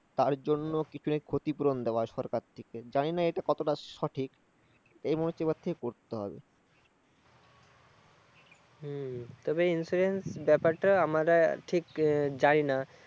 তার জন্য কি ক্ষতিপূরণ দেয়া সরকার থেকে, জানি না এটা কতটা সঠিক। হম তবে insurance ব্যপারটা আমরা ঠিক জানি না